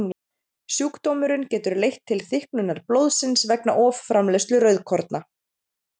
Sjúkdómurinn getur leitt til þykknunar blóðsins vegna offramleiðslu rauðkorna.